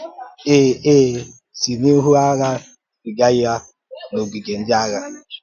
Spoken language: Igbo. É É sì n’ihu àgha zìga ya n’ọ̀gìgè ndị àgha.